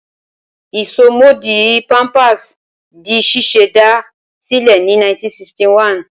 Ìsomọ́ọ̀dí Pampers di ṣíṣẹ̀dá sílẹ̀ ní 1961.